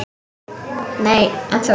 Nei, en þú?